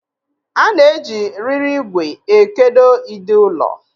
A na-eji riri ìgwè ekedo ide ụlọ.